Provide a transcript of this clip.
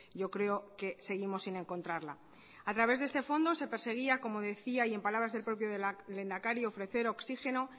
yo creo que seguimos sin encontrarla a través de este fondo se perseguía como decía y en palabras del propio lehendakari ofrecer oxígeno